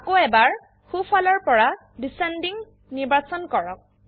আকৌ এবাৰ সোফালৰ পৰা ডিচেণ্ডিং নিৰ্বাচন কৰক